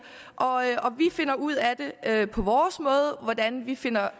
og vi finder ud af på vores måde hvordan vi finder